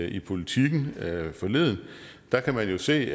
i politiken forleden der kan man jo se